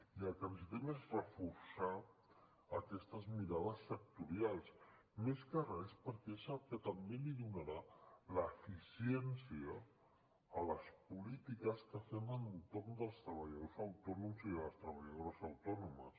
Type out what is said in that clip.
i el que necessitem és reforçar aquestes mirades sectorials més que res perquè és el que també donarà l’eficiència a les polítiques que fem en torn dels treballadors autònoms i de les treballadores autònomes